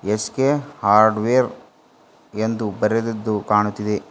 S K hardware ಎಂದು ಬರೆದಿದ್ದು ಕಾಣುತ್ತಿದೆ.